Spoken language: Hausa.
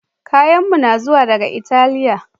Kayanmu na zuwa daga Italiya